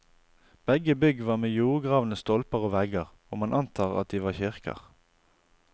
Begge bygg var med jordgravne stolper og vegger, og man antar at de var kirker.